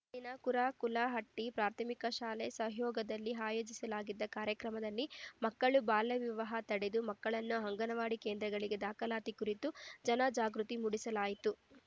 ಇಲ್ಲಿನ ಕುರಾಕಲಹಟ್ಟಿಪ್ರಾಥಮಿಕ ಶಾಲೆ ಸಹಯೋಗದಲ್ಲಿ ಆಯೋಜಿಸಲಾಗಿದ್ದ ಕಾರ್ಯಕ್ರಮದಲ್ಲಿ ಮಕ್ಕಳು ಬಾಲ್ಯವಿವಾಹ ತಡೆ ಮಕ್ಕಳನ್ನು ಅಂಗನವಾಡಿ ಕೇಂದ್ರಗಳಿಗೆ ದಾಖಲಾತಿಯ ಕುರಿತು ಜನಜಾಗೃತಿ ಮೂಡಿಸಲಾಯಿತು